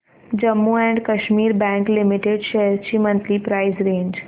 Jammu and Kashmir bank limited shares ची monthly price range